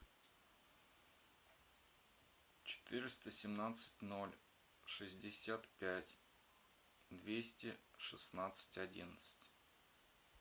четыреста семнадцать ноль шестьдесят пять двести шестнадцать одиннадцать